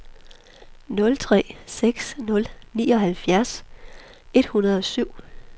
nul tre seks nul nioghalvtreds et hundrede og syv